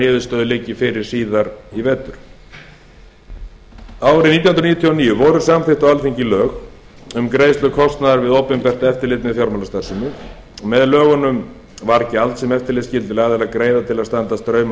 niðurstöður liggi fyrir síðar í vetur á árinu nítján hundruð níutíu og níu voru samþykkt á alþingi lög um greiðslu kostnaðar við opinbert eftirlit með fjármálastarfsemi með lögunum var gjald sem eftirlitsskyldir aðilar greiða til að standa straum af